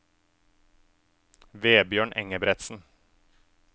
Vebjørn Engebretsen